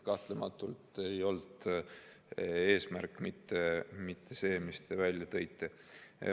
Kahtlematult ei olnud eesmärk mitte see, mis te välja tõite.